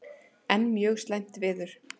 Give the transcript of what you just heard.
Enn mjög slæmt veður